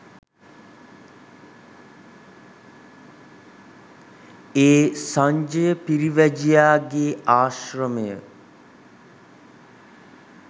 ඒ සංජය පිරිවැජියාගේ ආශ්‍රමය